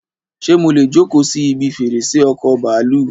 Ṣé mọ́lẹ̀ jókòó si ibi fèrèsé ọkọ bàálù?